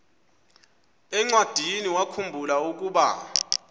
encwadiniwakhu mbula ukuba